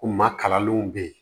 Ko maa kalanlenw bɛ yen